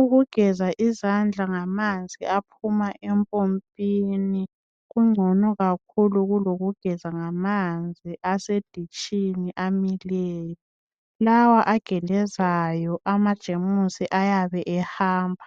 Ukugeza izandla ngamanzi aphuma empompini kungcono kakhulu kulokugeza ngamanzi aseditshini amileyo. Lawa agelezayo amajemusi ayabe ehamba,